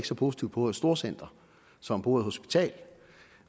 så positivt på ordet storcenter som på ordet hospital